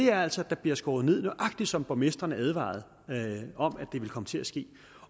er altså at der bliver skåret ned nøjagtig som borgmestrene advarede om at det ville komme til at ske